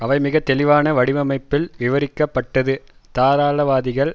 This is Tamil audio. அவை மிக தெளிவான வடிவமைப்பில் விவரிக்கப்பட்டது தாராளவாதிகள்